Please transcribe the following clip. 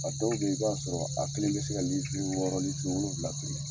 A dɔw bɛ yen i b'a sɔrɔ a kelen bɛ se ka wɔɔrɔ wolonwula biri .